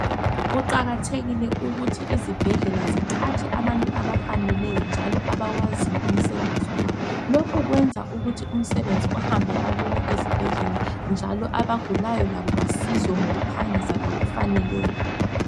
Kuqakathekile ukuthi izibhedlela ziqhatshe abantu abafaneleyo, njalo abawaziyo umsebenzi wabo, .Lokhu kwenza ukuthi umsebenzi uhambe kalula ezibhedlela, njalo labagulayo basizwe ngokuphangisa, njalo ngokufaneleyo.